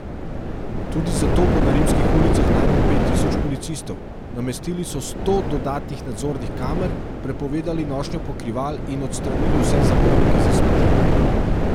Tudi zato bo na rimskih ulicah najmanj pet tisoč policistov, namestili so sto dodatnih nadzornih kamer, prepovedali nošnjo pokrival in odstranili vse zabojnike za smeti.